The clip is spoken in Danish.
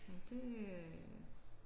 Men det øh